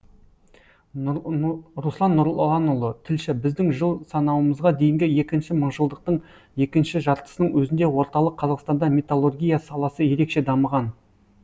руслан нұрланұлы тілші біздің жыл санауымызға дейінгі екінші мыңжылдықтың екінші жартысының өзінде орталық қазақстанда металлургия саласы ерекше дамыған